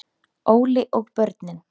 Óli og börnin.